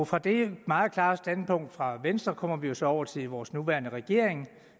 fra det meget klare standpunkt fra venstre kommer vi jo så over til vores nuværende regering